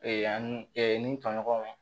ani ni tɔɲɔgɔnw